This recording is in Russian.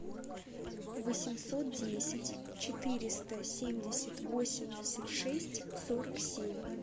восемьсот десять четыреста семьдесят восемьдесят шесть сорок семь